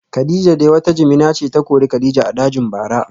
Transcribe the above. Kadijah dai wata jimina ce ta kori kadija a dajin bara